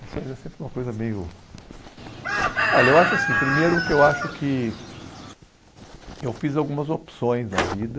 Lições é sempre uma coisa meio... Olha, eu acho assim, primeiro que eu acho que eu fiz algumas opções na vida.